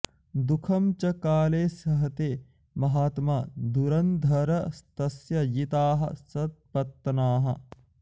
दुःखं च काले सहते महात्मा धुरन्धरस्तस्य जिताः सपत्नाः